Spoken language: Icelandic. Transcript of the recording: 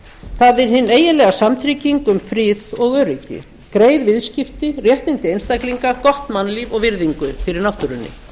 það er hin eiginlega samtrygging um frið og öryggi greið viðskipti réttindi einstaklinga gott mannlíf og virðingu fyrir náttúrunni